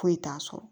Foyi t'a sɔrɔ